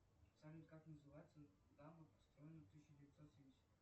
салют как называется дамба построенная в тысяча девятьсот семьдесят